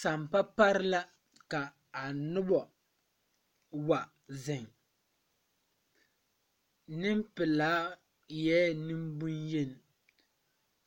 Sampa pare la ka nobɔ wa zeŋ neŋpilaa eɛɛ nwŋbonyen